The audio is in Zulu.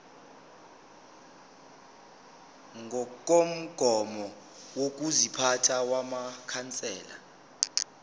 ngokomgomo wokuziphatha wamakhansela